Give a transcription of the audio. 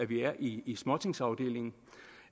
vi er i i småtingsafdelingen